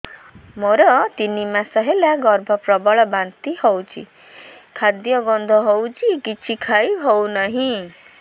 ମୋର ତିନି ମାସ ହେଲା ଗର୍ଭ ପ୍ରବଳ ବାନ୍ତି ହଉଚି ଖାଦ୍ୟ ଗନ୍ଧ ହଉଚି କିଛି ଖାଇ ହଉନାହିଁ